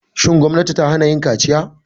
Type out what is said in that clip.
Shin gwamnati ta hana yin kaciya?